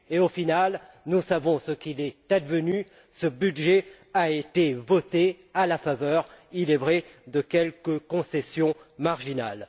Au final nous savons ce qu'il est advenu ce budget a été voté, à la faveur, il est vrai, de quelques concessions marginales.